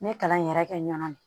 N ye kalan in yɛrɛ kɛ n na de